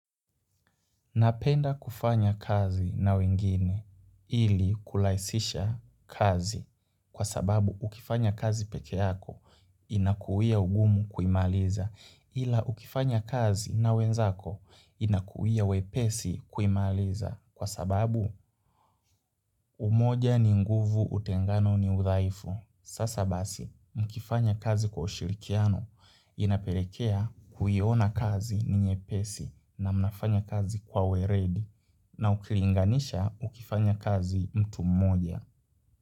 Napenda kufanya kazi na wengine ili kulaisisha kazi kwa sababu ukifanya kazi peke yako inakuia ugumu kuimaliza ila ukifanya kazi na wenzako inakuia wepesi kuimaliza kwa sababu umoja ni nguvu utengano ni udhaifu. Sasa basi mkifanya kazi kwa ushirikiano inapelekea kuyiona kazi ninye pesi na mnafanya kazi kwa we redi na ukilinganisha ukifanya kazi mtu mmoja.